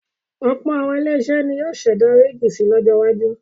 Ọ̀pọ̀ àwọn ilé-iṣẹ́ ni yóò ṣẹ̀dá wíígì si lọjọ iwájú.